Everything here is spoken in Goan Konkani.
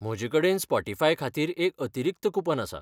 म्हजेकडेन स्पॉटीफाय खातीर एक अतिरिक्त कूपन आसा.